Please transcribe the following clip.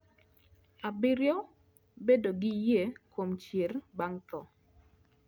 Abiriyo, Bedo gi yie kuom chier bang' tho.